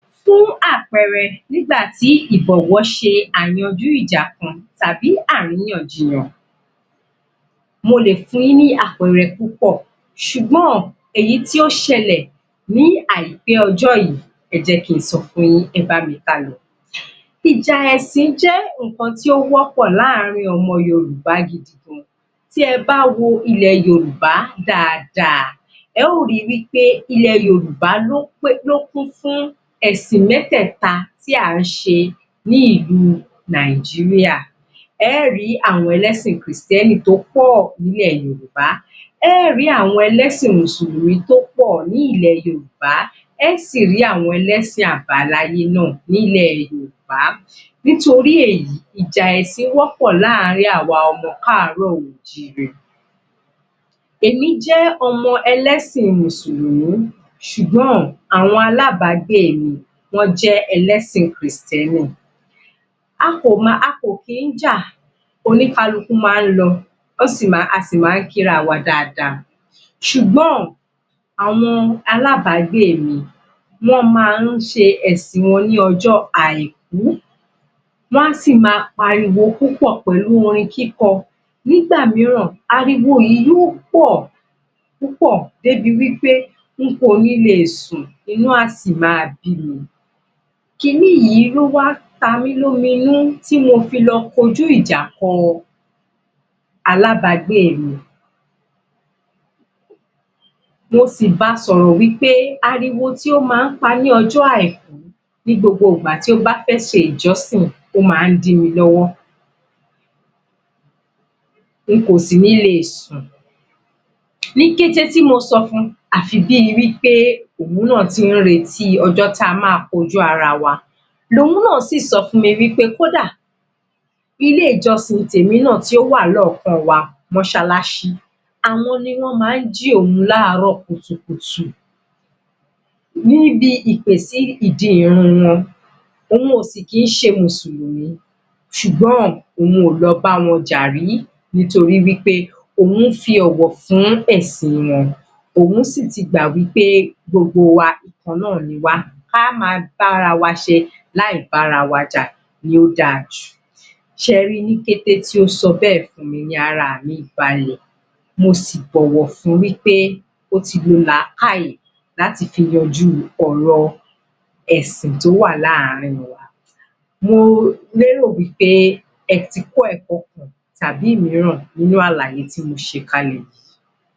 Fún àpẹẹrẹ, nígbàtí ìbọ̀wọ̀ ṣe ayanjú ìja kan tàbí àríyànjiyàn mo lè fun yín ní àpẹẹrẹ púpọ̀ ṣùgbọ́n, èyí tí ó ṣẹlẹ̀ ní àìpẹ́ ọjọ́ yìí, ẹ jẹ́ kí n sọ fun yín, ẹ bá mi ká lọ. Ìjà ẹ̀sìn jẹ́ ǹnkan tí ó wọ́pọ̀ láàrin ọmọ Yorùbá gidi gan tí ẹ bá wo ilẹ̀ Yorùbá dáadáa, ẹ ó ri wí pé ilẹ̀ Yorùbá ló kún fún ẹ̀sìn mẹ́tẹ̀ta tí à ń ṣe ní ìlú Nàìjíríà. Ẹ ó rí àwọn ẹlẹ́sìn kìrìsìtẹ́nì tó pọ̀ ní ilẹ̀ Yorùbá, ẹ ó rí àwọn ẹlẹ́sìn mùsùlùmí tó pọ̀ ní ilẹ̀ Yorùbá, ẹ ó sì rí àwọn ẹlẹ́sìn àbáláyé náà ní ilẹ̀ Yorùbá. Nítorí èyí, ìjà ẹ̀sìn wọ́pọ́ láàrin àwa ọmọ káàrọ-o-jíré. Èmi jẹ́ ọmọ ẹlẹ́sìn mùsùlùmí, ṣùgbọ́n, àwọn alábàágbé mi wọ́n jẹ́ ẹlẹ́sìn kìrìsìténì, a kò kí ń jà, oníkálukú máa ń lọ a sì máa ń kí ara wa dáadáa ṣùgbọ́n, àwọn alábàágbé mi wọ́n máa ń ṣe ẹ̀sìn wọn ní ọjọ́ àìkú wá si máa pariwo púpọ̀ pẹ̀lú orin kíkọ nígbà mìíràn, ariwo yìí yóò pọ̀ púpọ̀ débi wí pé n kò ní lè sùn, inú á si máa bí mi, kini yìí ló wá ta mí lómi inú tí mo fi lọ kọjú ìjà kọ alábàágbé mi. mo sì ba sọ̀rọ̀ wí pé ariwo tí ó máa ń pa ní ọjọ́ àìkú ní gbogbo ìgbà tí ó bá fẹ́ ṣe ìjọ́sìn ó máa ń dí mi lọ́wọ́ n kò sì ní lè sùn. Ní kété tí mo sọ fun àfi bí wí pé òun náà ti ń retí ọjọ́ tí a máa kọjú ara wa lòun náà si sọ fún mi wí pé kódà ilé ìjọsìn tèmi náà tí ó wà ní ọ̀ọ́kán wa móṣáláṣí, àwọn ni wọ́n máa ń jí òun ní àárọ̀ kùtùkùtù níbi ìpè sí ìdí ìrun wọn òun ò kì si í ṣe mùsùlùmí ṣùgbọ́n òun ò lọ bá wọn jà rí nítorí wí pé òun ṣe ọ̀wọ̀ fún ẹ̀sìn wọn òun sì ti gbà wí pé gbogbo wa ìkan náà ni wá ká máa bá ara wa ṣe láì bá ara wa jà, ló dáa jù. Ṣẹ ri, ní kété tí ó sọ bẹ́ẹ̀ ni gbogbo ara mi balẹ̀ mo sì bọ̀wọ̀ fun wípé ó ti lo làkàì láti fi yanjú ọ̀rọ̀ ẹ̀sìn tó wà láàrin wa. Mo lérò wí pé ẹ ti kọ́ ẹ̀kọ́ kan tàbí ìmíràn nínú àlàyé tí mo ṣe kalẹ̀ yìí.